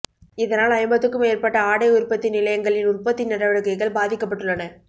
இதனால் ஐம்பதுக்கும் மேற்பட்ட ஆடை உற்பத்தி நிலையங்களின் உற்பத்தி நடவடிக்கைகள் பாதிக்கப்பட்டுள்ளன